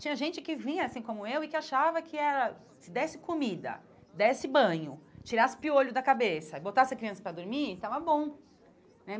Tinha gente que vinha, assim como eu, e que achava que era se desse comida, desse banho, tirasse o piolho da cabeça e botasse a criança para dormir, estava bom né.